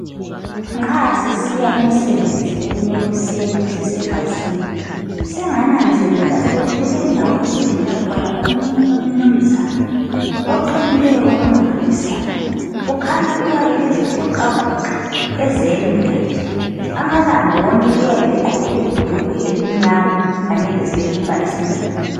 Nxa sisiya emsebenzini ekuseni sisebhasini , sengananzelela ukuthi kulendawo esidlula khona umnanzana oqinileyo okumangalisayo , kukhanya uyabe ezivixavoxa ezelula nje , amalanga wonke uyabe egqoke ibhulugwe elimnyama kanye lesikipa esimnyama